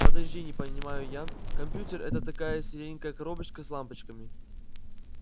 подожди не понимаю я компьютер это такая серенькая коробочка с лампочками